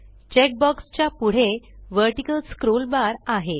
check box च्या पुढे vertical scroll bar आहे